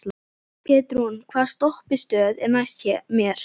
Petrún, hvaða stoppistöð er næst mér?